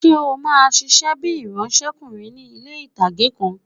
Ṣé o máa ṣiṣẹ́ bíi ìránsẹ́kùnrin ní ilé-ìtánjẹ kan?